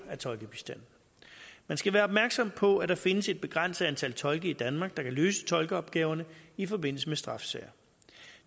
af tolkebistand man skal være opmærksom på at der findes et begrænset antal tolke i danmark der kan løse tolkeopgaverne i forbindelse med straffesager